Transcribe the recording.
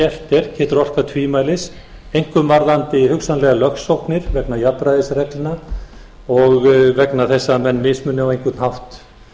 gert er getur orkað tvímælis einkum varðandi hugsanlegar lögsóknir vegna jafnræðisreglna og vegna þess að menn mismuni á einhvern hátt